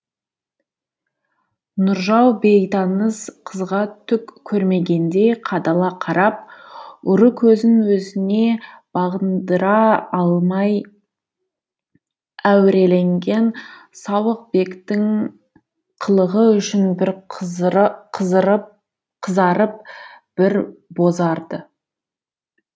нұржау бейтаныс қызға түк көрмегендей қадала қарап ұры көзін өзіне бағындыра алмай әуреленген сауықбектің қылығы үшін бір қызарып бір бозарды